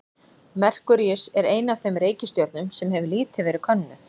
Merkúríus er ein af þeim reikistjörnum sem hefur lítið verið könnuð.